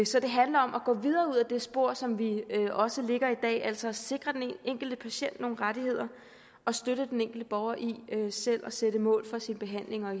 så det handler om at gå videre ud ad det spor som vi også lægger i dag altså at sikre den enkelte patient nogle rettigheder og støtte den enkelte borger i selv at sætte mål for sin behandling og